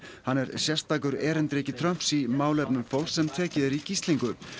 hann er sérstakur erindreki Trumps í málefnum fólks sem tekið er í gíslingu